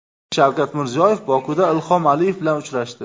Shavkat Mirziyoyev Bokuda Ilhom Aliyev bilan uchrashdi.